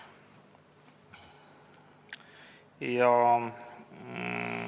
Palun!